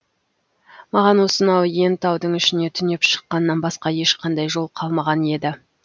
маған осынау иен таудың ішіне түнеп шыққаннан басқа ешқандай жол қалмаған еді